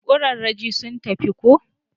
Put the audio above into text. kuraraje sun tafi ko?